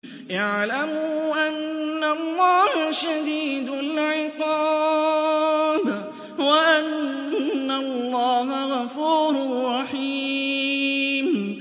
اعْلَمُوا أَنَّ اللَّهَ شَدِيدُ الْعِقَابِ وَأَنَّ اللَّهَ غَفُورٌ رَّحِيمٌ